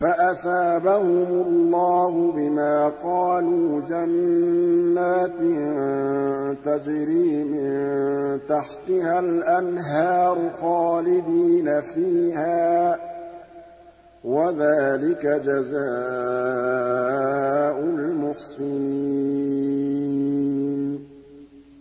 فَأَثَابَهُمُ اللَّهُ بِمَا قَالُوا جَنَّاتٍ تَجْرِي مِن تَحْتِهَا الْأَنْهَارُ خَالِدِينَ فِيهَا ۚ وَذَٰلِكَ جَزَاءُ الْمُحْسِنِينَ